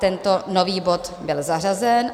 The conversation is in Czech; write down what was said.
Tento nový bod byl zařazen.